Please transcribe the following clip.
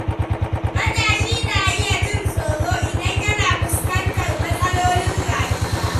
Matashi na iya jin tsoro idan yana fuskantar matsalolin rayuwa.